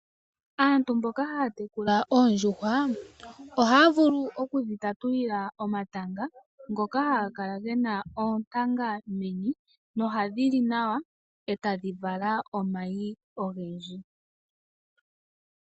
Aantu mboka haya tekula oondjuhwa ohaya vulu okudhi tatulila omatanga, ngoka haga kala gena oontanga meni nohadhi li nawa etadhi vala omayi ogendji.